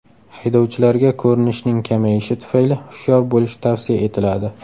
Haydovchilarga ko‘rinishning kamayishi tufayli hushyor bo‘lish tavsiya etiladi.